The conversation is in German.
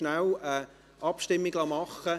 Ich lasse rasch über Folgendes abstimmen: